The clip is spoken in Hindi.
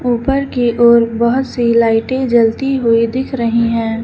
ऊपर की ओर बहुत सी लाइटें जलती हुई दिख रही हैं।